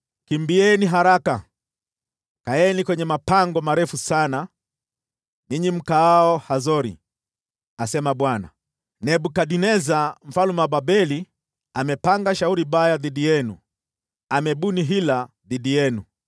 “Kimbieni haraka! Kaeni kwenye mapango marefu sana, ninyi mkaao Hazori,” asema Bwana . “Nebukadneza, mfalme wa Babeli amepanga shauri baya dhidi yenu; amebuni hila dhidi yenu.